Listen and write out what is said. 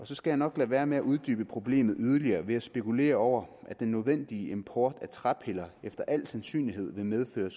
skal nok lade være med at uddybe problemet yderligere ved at spekulere over at den nødvendige import af træpiller efter al sandsynlighed vil medføre